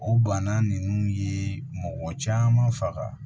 O bana ninnu ye mɔgɔ caman faga